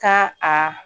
Ka a